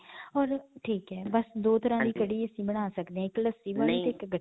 ਠੀਕ ਹੈ. ਬਸ ਦੋ ਤਰ੍ਹਾਂ ਦੀ ਕੜੀ ਅਸੀਂ ਬਣਾ ਸਕਦੇ ਇਕ ਲੱਸੀ ਵਾਲੀ ਤੇ ਇਕ.